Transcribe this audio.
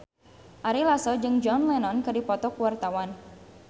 Ari Lasso jeung John Lennon keur dipoto ku wartawan